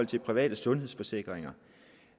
de private sundhedsforsikringer